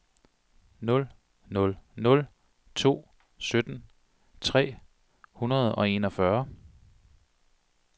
nul nul nul to sytten tre hundrede og enogfyrre